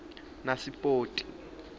nasipoti